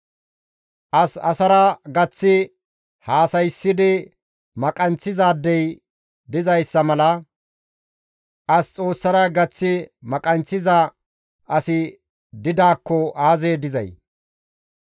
As asara gaththi haasayssidi maqayinththizaadey dizayssa mala; as Xoossara gaththi maqayinththiza asi didaakko aazee dizay?